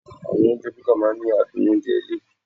Àwọn oúnjẹ búkà máa ń ní adùn oúnjẹ ilé.